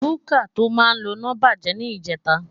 Kúkà tó máa ń loná bàjẹ́ ní ìjẹta